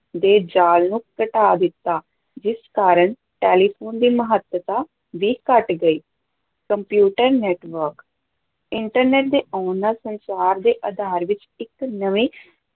ਦੇ ਜਾਲ ਨੂੰ ਘਟਾ ਦਿੱਤਾ, ਜਿਸ ਕਾਰਨ ਟੈਲੀਫ਼ੋਨ ਦੀ ਮਹੱਤਤਾ ਵੀ ਘਟ ਗਈ, ਕੰਪਿਊਟਰ network internet ਦੇ ਆਉਣ ਨਾਲ ਸੰਚਾਰ ਦੇ ਆਧਾਰ ਵਿੱਚ ਇੱਕ ਨਵੇਂ